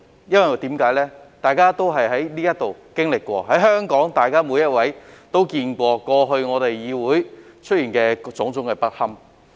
因為大家都在這裏經歷過、每一位香港市民也見過議會過去出現的種種不堪。